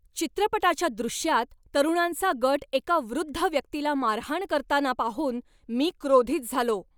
चित्रपटाच्या दृश्यात तरुणांचा गट एका वृद्ध व्यक्तीला मारहाण करताना पाहून मी क्रोधित झालो.